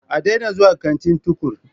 A daina zuwa kantin Tukur!